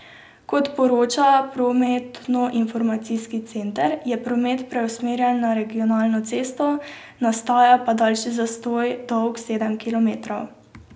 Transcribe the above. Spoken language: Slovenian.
Kot poroča prometnoinformacijski center, je promet preusmerjen na regionalno cesto, nastaja pa daljši zastoj, dolg sedem kilometrov.